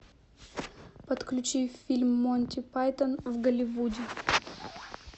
подключи фильм монти пайтон в голливуде